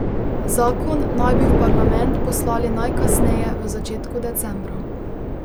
Zakon naj bi v parlament poslali najkasneje v začetku decembra.